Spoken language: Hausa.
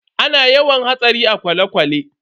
Ana yawan hatsari a kwale-kwale.